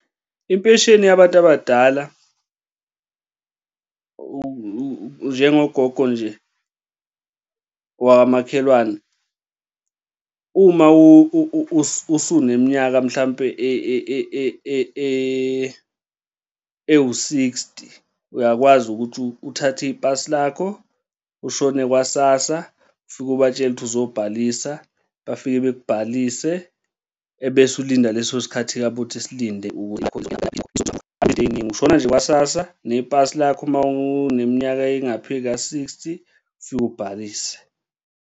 Impesheni yabantu abadala, njengogogo nje wakamakhelwane. Uma usuneminyaka mhlampe ewu-sixty, uyakwazi ukuthi uthathe ipasi lakho, ushone kwa-SASSA ufike ubatshele ukuthi ozobhalisa bafike bekubhalise ebese ulinda leso sikhathi sabo ukuthi usilinde izinto ey'ningi, ushona nje kwa-sassa nepasi lakho uma useneminyaka engaphezu kwa-sixty ufike ubhalise.